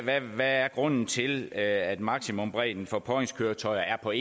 der er grunden til at maksimumbredden for påhængskøretøjer for